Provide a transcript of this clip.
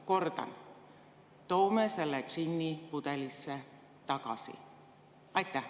Kordan: toome selle džinni pudelisse tagasi!